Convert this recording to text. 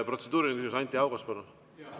Protseduuriline küsimus, Anti Haugas, palun!